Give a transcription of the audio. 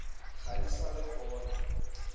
ga di sa le gona